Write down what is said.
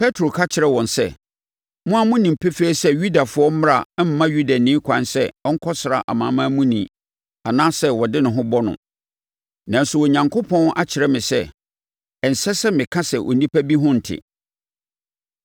Petro ka kyerɛɛ wɔn sɛ, “Mo ara monim pefee sɛ Yudafoɔ mmara mma Yudani ɛkwan sɛ ɔkɔsra Amanamamuni anaasɛ ɔde ne ho bɔ no. Nanso, Onyankopɔn akyerɛ me sɛ, ɛnsɛ sɛ meka sɛ onipa bi ho nte.